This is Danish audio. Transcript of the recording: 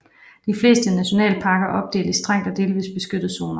De fleste nationalparker er opdelt i strengt og delvist beskyttede zoner